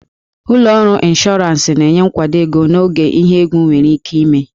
Ụlọ ọrụ ịnshọransị na-enye nkwado ego n'oge ihe egwu nwere ike ime